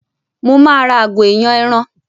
Mo máa ra àgò ìyàn ẹran